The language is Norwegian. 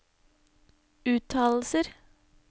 uttalelser